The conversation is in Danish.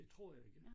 Det tror jeg ikke